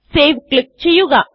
save click ചെയ്യുക